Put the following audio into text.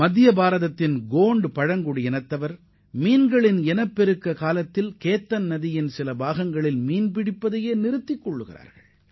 மத்திய இந்தியாவின் கோண்டு இன மக்களும் மீன்கள் இனப்பெருக்க காலத்தில் கைத்தான் நதியில் மீன் பிடிப்பதையே நிறுத்தி விடுகின்றனர்